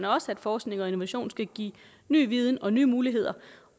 også at forskning og innovation skal give ny viden og nye muligheder